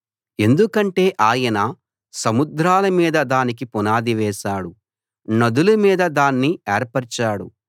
ఎందుకంటే ఆయన సముద్రాల మీద దానికి పునాది వేశాడు నదుల మీద దాన్ని ఏర్పరిచాడు